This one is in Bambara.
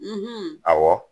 ɔwɔ